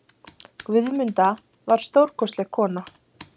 Guðmunda var stórkostleg kona.